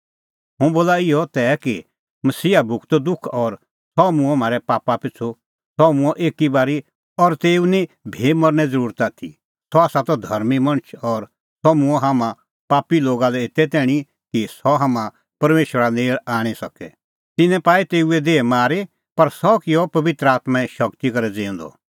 हुंह बोला इहअ तै कि मसीहा भुगतअ दुख और सह मूंअ म्हारै पापा पिछ़ू सह मूंअ एकी बारी और तेऊ निं भी मरने ज़रुरत आथी सह त धर्मीं मणछ और सह मूंअ हाम्हां पापी लोगा लै एते तैणीं कि सह हाम्हां परमेशरा नेल़ आणी सके तिन्नैं पाई तेऊए देही मारी पर सह किअ पबित्र आत्में शगती करै ज़िऊंदअ